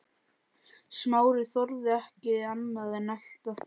Smári þorði ekki annað en elta.